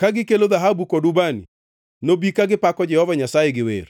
ka gikelo dhahabu kod ubani, nobi ka gipako Jehova Nyasaye gi wer.